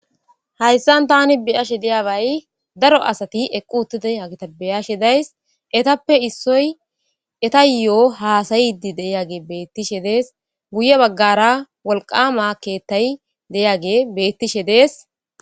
hayssan tani bi'ashe diyabay daro asati eqqu uttide hagita be'ashe days etappe issoy eta yo'o haasayidi de'age beettishe de'es guye baggara wolqama keettay deyage bettishe de'es